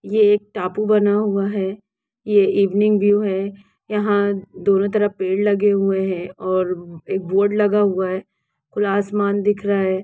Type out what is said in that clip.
ये एक टापू बना हुआ है ये इवनिंग वयू है यहा दोनो तरफ पेड़ लगे हुए है और एकबोर्ड लगा हुआ हैँ खुला आसमान दिख रहा हैँ।